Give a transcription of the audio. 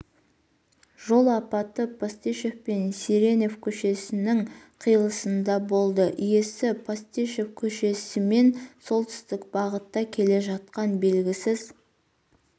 жол апаты постышев пен сиренев көшелерінің қиылысында болды иесі постышев көшесімен солтүстік бағытта келе жатқан белгісіз